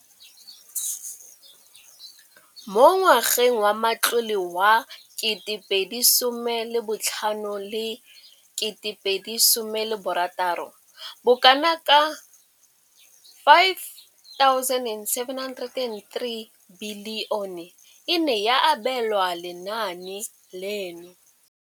Mo ngwageng wa matlole wa 2015 2016, bokanaka R5 703 bilione e ne ya abelwa lenaane leno.